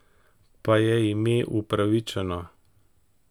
Pa je ime upravičeno?